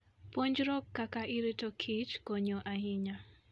Puonjruok kaka irito kich konyo ahinya.